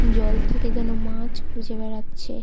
জল থেকে যেন মাছ খুঁজে বেড়াচ্ছে।